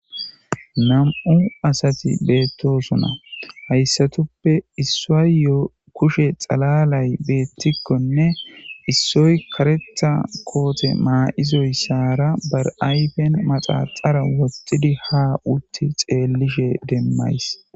Nam'u asati betosona haysatupe issayo kushey xalalay betikone issoy karetha kote mayidaysara ayfen maxaxara wothidaysara utti xelashe demaysi